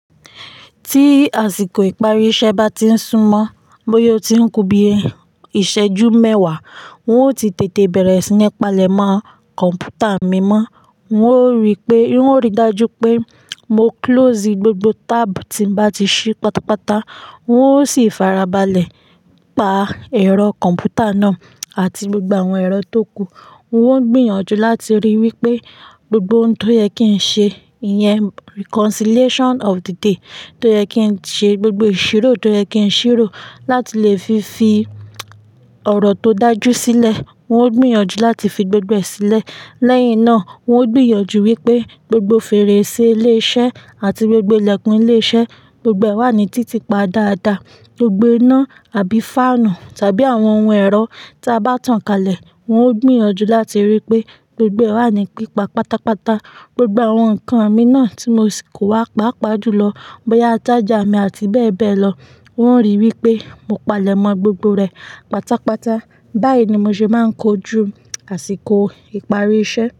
Tí àsìkò ìparí iṣẹ́ bá ti ń súmọ́, bóyá ó ti ń kú bí i ìṣẹ́jú mẹ́wàá, n ó ti tètè bẹ̀rẹ̀ sí ní palèmọ́ kọ̀ǹpútà mi mọ́. N ó rí pé, n ó rí dájú pé mo close gbogbo tab tí mo bá ti ṣí pátápátá, wọn ó sì fara balẹ̀ pa ẹ̀rọ kọ̀ǹpútà náà àti gbogbo àwọn ẹ̀rọ tó kù. Wọ́n gbìyànjú láti ríi wípé gbogbo ohun tó yẹ kí ń ṣe, ìyẹn reconciliation of the day tó yẹ kí ń ṣe, gbogbo ìṣirò tó yẹ kí ń ṣírò láti lè fi fí ọ̀rọ̀ tó dájú sílẹ̀, wọn ó gbìyànjú láti fi gbogbo ẹ sílẹ̀. Lẹ́yìn náà, wọn ó gbìyànjú wípé gbogbo fèrèsé ilé iṣẹ́ àti gbogbo ilẹ̀kùn ilé iṣẹ́, gbogbo ẹ wà ní títì pa dáadáa. Gbogbo iná àbí fáànù tàbí àwọn ohun ẹ̀rọ tí a bá tàn kálẹ̀, wọn ó gbìyànjú láti ríi wípé gbogbo ẹ wà ní pípa pátápátá. Gbogbo àwọn ǹkan mi náà tí mo sì kó wá pàápàá jùlọ, bóyá charger mi àti bẹ́ẹ̀ bẹ́ẹ̀ lọ, wọ́n ń ríi wípé mo palẹ̀mọ́ gbogbo rẹ̀ pátápátá. Báyìí ni mo ṣe máa ń kojú àsìkò ìparí iṣẹ́.